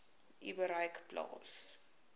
u bereik plaas